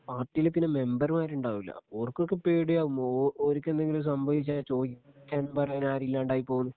പാർട്ടിയില് പിന്നെ മെമ്പർമാരുണ്ടാവില്ല ഓർക്ക് ഒക്കെ പേടിയാവും ഓ ഓര്ക്ക് എന്തെങ്കിലും സംഭവിച്ചാൽ ചോദിക്കാനും പറയാനും ആരും ഇല്ലാണ്ടായി പോകുമെന്ന്